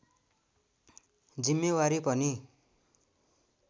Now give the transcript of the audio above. जिम्मेवारी पनि